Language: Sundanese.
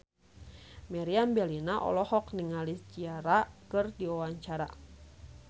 Meriam Bellina olohok ningali Ciara keur diwawancara